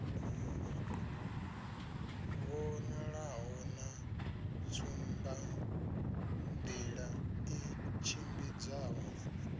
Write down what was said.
vhonalaho na tsumbanḓila i tshimbidzaho